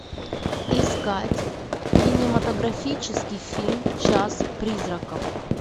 искать кинематографический фильм час призраков